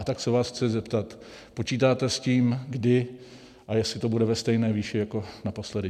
A tak se vás chci zeptat, počítáte s tím, kdy a jestli to bude ve stejné výši jako naposledy?